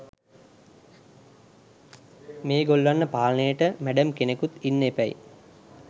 මෙගොල්ලන්ව පාලනයට මැඩම් කෙනෙකුත් ඉන්න එපැයි.